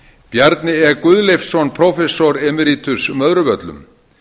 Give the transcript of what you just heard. bjarni e guðleifsson prófessor emiritus möðruvöllum